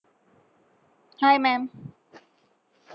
hi maam